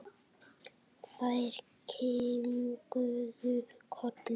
Þær kinkuðu kolli.